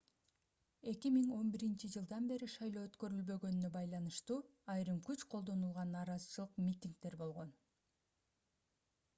2011-жылдан бери шайлоо өткөрүлбөгөнүнө байланыштуу айрым күч колдонулган нараазачылык митингдер болгон